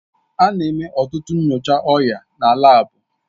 A na-eme ọtụtụ nyocha ọrịa na laabu